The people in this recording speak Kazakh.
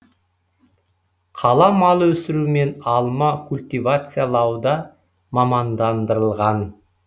қала мал өсіру мен алма культивациялауда мамандандырылған